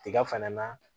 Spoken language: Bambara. Tiga fana na